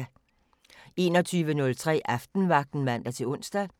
21:03: Aftenvagten (man-ons) 00:05: Natradio (man-søn)